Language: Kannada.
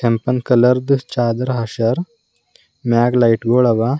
ಕೆಂಪನ ಕಲರ್ ಚಾದರ್ ಹಾಸ್ಯರ್ ಮ್ಯಾಲ ಲೈಟ್ ಗೊಳ ಅವಾ.